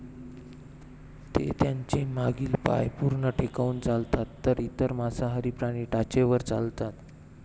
ते त्यांचे मागील पाय पूर्ण टेकवून चालतात तर इतर मांसाहारी प्राणी टाचेवर चालतात